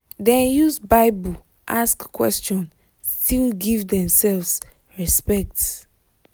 dem use bible ask question still give themselves respect